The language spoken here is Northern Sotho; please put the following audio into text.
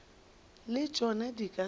le tšona di ka se